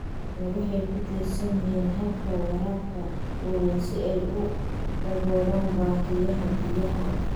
Beeraha waaweyni waxay ku tiirsan yihiin hababka waraabka waaweyn si ay u daboolaan baahiyaha biyaha.